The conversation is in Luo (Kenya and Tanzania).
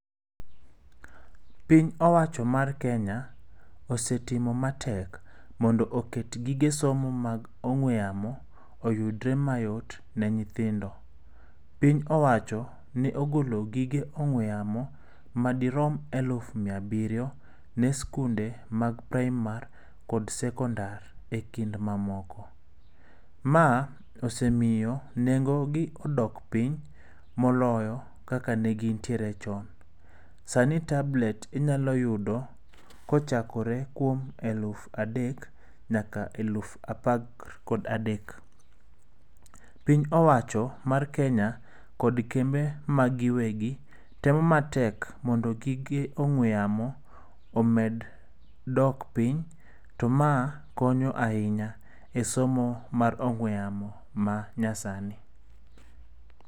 Piny owacho mar Kenya osetimo matek mondo oket gige somo mag ong'ue yamo oyudre mayot ne nyithindo. Piny owacho ne ogolo gige ong'ue yamo madirom elufu miya abiriyo ne sikunde mag praimar kod sekondar ekind mamoko. Ma osemiyo nengo gi odok piny moloyo kaka ne gintiere chon. Sani tablet inyalo yudo kochakore kuom eluf adek nyaka eluf apar kod adek. Piny owacho mar Kenya kod kembe mag gi giwegi temo matek mondo gige ong'ue yamo omed dok piny to ma konyo ahinya esomo mar ong'ue yamo ma nyasani.